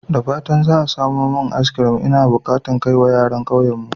Da fatan za a samo min maj sani. Ina bukata in kai wa yaran kauyenmu.